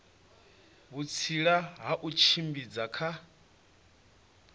vhutsila ha u tshimbidza kha